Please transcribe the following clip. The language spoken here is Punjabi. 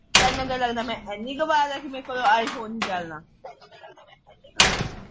ਤੈਨੂੰ ਕੀ ਲਗਦਾ ਕੇ ਮੈ ਏਨੀ ਗਵਾਰ ਆ ਕੇ ਮੇਰੇ ਕੋਲੋਂ ਆਈਫੋਨ ਨਹੀਂ ਚਲਣਾ